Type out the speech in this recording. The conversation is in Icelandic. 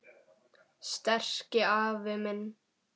Sterki afi minn.